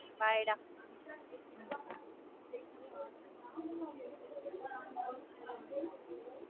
bye டா